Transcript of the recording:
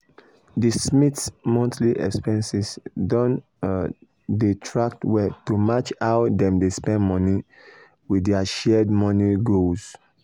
d smiths monthly expenses don um dey tracked well to match how dem dey spend money with dir shared money goals.